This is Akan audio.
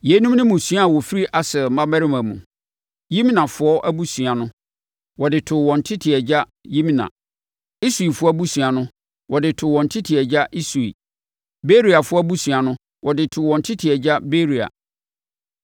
Yeinom ne mmusua a wɔfiri Aser mmammarima mu. Yimnafoɔ abusua no, wɔde too wɔn tete agya Yimna. Isuifoɔ abusua no, wɔde too wɔn tete agya Isui. Beriafoɔ abusua no, wɔde too wɔn tete agya Beria.